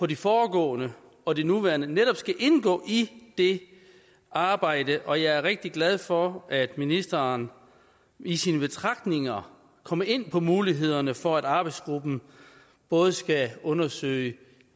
de foregående og det nuværende netop skal indgå i det arbejde og jeg er rigtig glad for at ministeren i sine betragtninger kommer ind på mulighederne for at arbejdsgruppen både skal undersøge